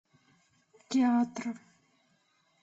театр